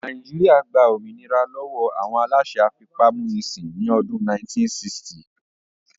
Nàìjíríyà gba òmìnira lọ́wọ́ àwọn aláṣẹ afipámúnisìn ní ọdún 1960